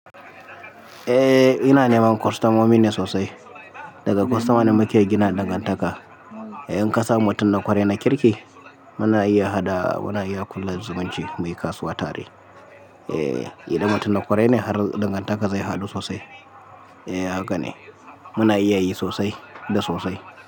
Eh ina neman kwastomomi ne sosai. Daga kwostoma ne muke gina dangantaka. In ka samu mutum na kwarai na kirki, muna iya haɗa, muna iya kulla zumunci muyi kasuwa tare. Eh idan mutum na kwarai ne har dangantaka zai haɗu sosai. Eh haka ne muna iya yi sosai da sosai.